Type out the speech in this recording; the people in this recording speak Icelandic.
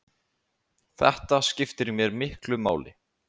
Þetta skiptir mér miklu máli.